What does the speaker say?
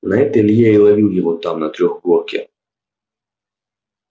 на это илья и ловил его там на трёхгорке